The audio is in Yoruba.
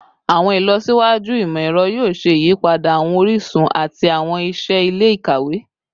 Awọn ilọsiwaju imọ-ẹrọ yoo ṣe iyipada awọn orisun ati awọn iṣẹ ile-ikawe